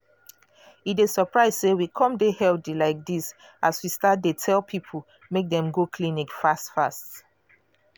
e dey surprise say we come dey healthy like this as we start dey tell people make dem go clinic fast.